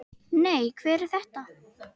Nei, hver er þetta?